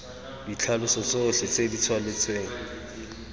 ditlhaloso tsotlhe tse di thaletsweng